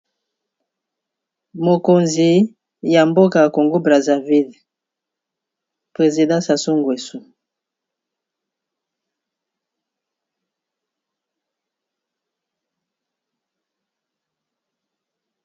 Mokonzi ya mboka ya Congo brazza ville Président Sassou ngweso .